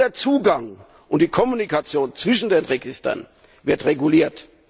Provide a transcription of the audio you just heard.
Nur der Zugang und die Kommunikation zwischen den Registern werden reguliert.